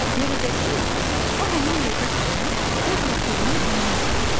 Görəcəksiniz ki, o həmin yerdə dayanıb öz ləpirinin iyinə axtarır.